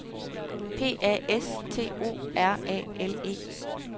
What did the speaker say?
P A S T O R A L E